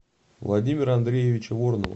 владимира андреевича воронова